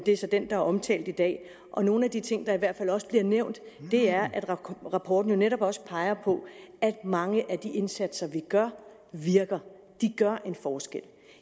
er så den der er omtalt i dag nogle af de ting der i hvert fald også bliver nævnt er at rapporten netop også peger på at mange af de indsatser vi gør virker de gør en forskel